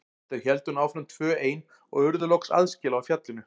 Þau héldu nú áfram tvö ein og urðu loks aðskila á fjallinu.